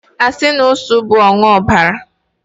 asi na usu bu ogbuanuobara